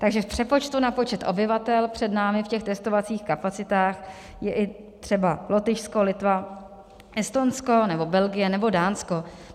Takže v přepočtu na počet obyvatel před námi v těch testovacích kapacitách je i třeba Lotyšsko, Litva, Estonsko nebo Belgie nebo Dánsko.